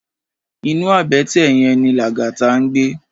Inú àbètè yèn ni Lagata ngbé